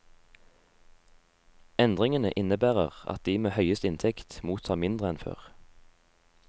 Endringene innebærer at de med høyest inntekt mottar mindre enn før.